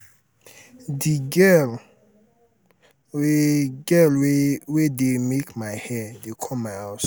the girl wey girl wey dey make my hair dey come my house